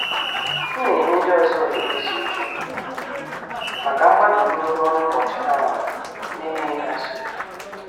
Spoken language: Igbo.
M na- enye ndị ọzọ oghere izu ike maka mgbali ogologo ọrụ ụbọchị ha rụrụ na- enyeghi ha nsogbu.